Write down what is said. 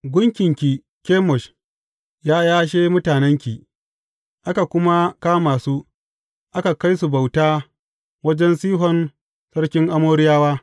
Gunkinki Kemosh ya yashe mutanenki; aka kuma kama su, aka kai su bauta wajen Sihon sarkin Amoriyawa.